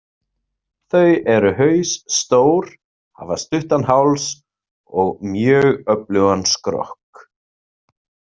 Þau eru hausstór, hafa stuttan háls og mjög öflugan skrokk.